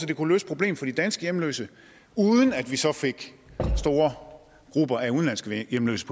det kunne løse problemet for de danske hjemløse uden at vi så fik store grupper af udenlandske hjemløse